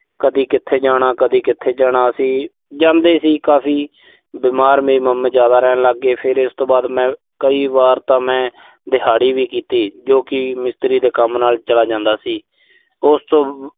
ਕਦੀ ਕਿੱਥੇ ਜਾਣਾ। ਕਦੀ ਕਿੱਥੇ ਜਾਣਾ, ਅਸੀਂ ਜਾਂਦੇ ਸੀ ਕਾਫ਼ੀ। ਬਿਮਾਰ ਮੇਰੇ mama ਜ਼ਿਆਦਾ ਰਹਿਣ ਲਾਗੇ। ਫਿਰ ਇਸ ਤੋਂ ਬਾਅਦ ਮੈਂ, ਕਈ ਵਾਰ ਤਾਂ ਮੈਂ ਦਿਹਾੜੀ ਵੀ ਕੀਤੀ, ਜੋ ਕਿ ਮਿਸਤਰੀ ਦੇ ਕੰਮ ਨਾਲ ਚਲਾ ਜਾਂਦਾ ਸੀ। ਉਸ ਤੋਂ